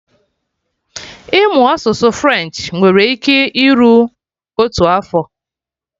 Ịmụ asụsụ French nwere ike iru otu afọ